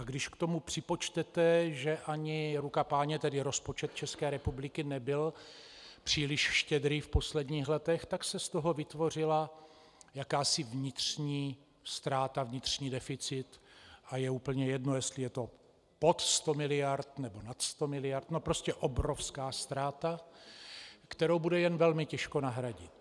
A když k tomu připočtete, že ani ruka Páně, tedy rozpočet České republiky nebyl příliš štědrý v posledních letech, tak se z toho vytvořila jakási vnitřní ztráta, vnitřní deficit, a je úplně jedno, jestli je to pod sto miliard, nebo nad sto miliard, no prostě obrovská ztráta, kterou bude jen velmi těžko nahradit.